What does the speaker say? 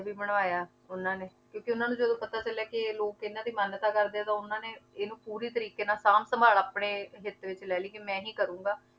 ਵੀ ਬਣਵਾਇਆ ਉਹਨਾਂ ਨੇ ਕਿਉਂਕਿ ਉਹਨਾਂ ਨੂੰ ਜਦੋਂ ਪਤਾ ਚੱਲਿਆ ਕਿ ਇਹ ਲੋਕ ਇਹਨਾਂ ਦੀ ਮਾਨਤਾ ਕਰਦੇ ਆ ਤਾਂ ਉਹਨਾਂ ਨੇ ਇਹਨੂੰ ਪੂਰੀ ਤਰੀਕੇ ਨਾਲ ਸਾਂਭ-ਸੰਭਾਲ ਆਪਣੇ ਹਿੱਤ ਵਿੱਚ ਲੈ ਲਈ ਕਿ ਮੈਂ ਹੀ ਕਰਾਂਗਾ।